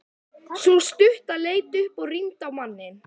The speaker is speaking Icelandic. Sú stutta leit upp og rýndi á manninn.